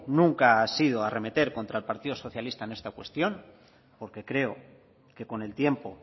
nunca ha sido arremeter contra el partido socialista en esta cuestión porque creo que con el tiempo